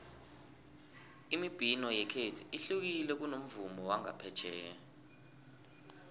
imibhino yekhethu ihlukile kunomvumo wangaphetjheya